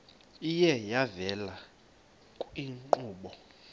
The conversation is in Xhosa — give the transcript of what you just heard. iye yavela kwiinkqubo